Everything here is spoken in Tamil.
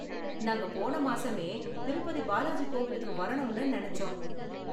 நாங்க போன மாசமே திருப்பதி பாலாஜி கோவிலுக்கு வரணும்னு நினைச்சோம்.